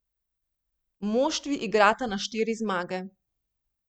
Moštvi igrata na štiri zmage.